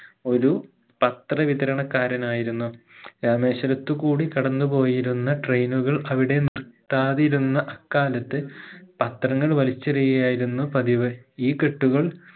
ഒരു പത്ര വിതരണക്കാരനായിരുന്നു രാമേശ്വരത്തുകൂടി കടന്ന് പോയിരുന്ന train കൾ അവിടെ നിർത്താതിരുന്ന അക്കാലത്ത് പത്രങ്ങൾ വലിച്ചെറിയുകയായിരുന്നു പതിവ് ഈ കെട്ടുകൾ